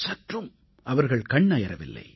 சற்றும் அவர்கள் கண் அயரவில்லை